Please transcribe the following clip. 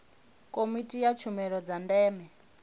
komiti ya tshumelo dza ndeme